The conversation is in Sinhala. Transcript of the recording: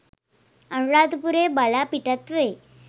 අනුරාධපුරය බලා පිටත් වෙයි.